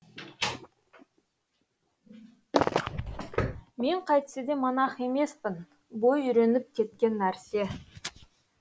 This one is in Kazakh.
мен қайтсе де монах емеспін бой үйреніп кеткен нәрсе